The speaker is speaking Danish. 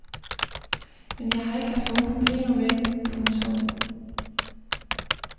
Men jeg har ikke haft nogen problemer med det. punktum